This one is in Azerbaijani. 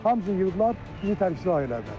Hamısını yığdılar, bizi tərksilah elədilər.